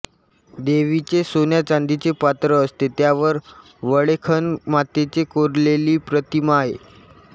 देवीचे सोन्या चांदीचे पात्र असते त्यावर वळेखण मातेचे कोरलेली प्रतिमा आहे